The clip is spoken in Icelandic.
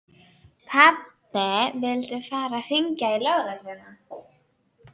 Pabbi vildi fara að hringja á lögregluna.